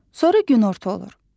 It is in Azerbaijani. Sonra günorta olur.